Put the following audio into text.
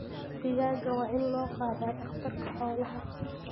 Digaagga waa in loo qaadaa dhakhtarka xoolaha.